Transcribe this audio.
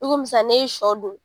I komi sisan n'i ye sɔ dun